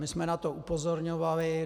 My jsme na to upozorňovali.